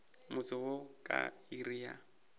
motse wo ka iri ya